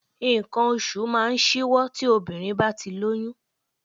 Nǹkan oṣù máa ń ṣíwọ́ tí obìnrin bá ti lóyún